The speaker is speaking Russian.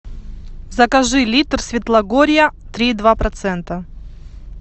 закажи литр светлогорья три и два процента